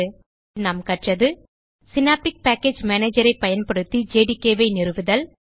எனவே இந்த டியூட்டோரியல் லில் நாம் கற்றது சினாப்டிக் பேக்கேஜ் மேனேஜர் ஐ பயன்படுத்தில ஜேடிகே ஐ நிறுவுதல்